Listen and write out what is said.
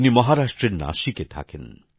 উনি মহারাষ্ট্রের নাসিকে থাকেন